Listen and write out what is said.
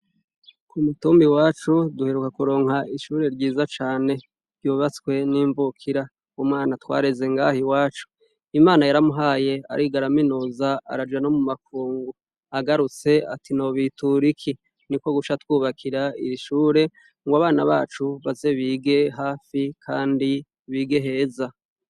Kumutumba iwacu duheruka n kuronka ishure ryiza cane ryubatswe nimvukira umwana twareze ngaha iwacu imana yaramuhaye ariga araminuza araja nomumakungu agarutse ati nobitura iki niko guca atwubakira irishure ngo abana bacu baze bige hafi kandi bige neza